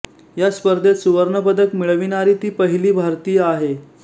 या स्पर्धेत सुवर्णपदक मिळविणारी ती पहिली भारतीय आहे